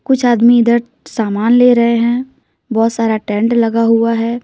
कुछ आदमी इधर सामान ले रहे हैं बहुत सारा टेंट लगा हुआ है।